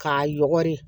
K'a yɔgɔri